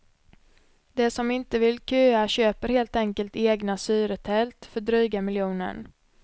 De som inte vill köa köper helt enkelt egna syretält, för dryga miljonen.